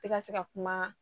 Tɛ ka se ka kuma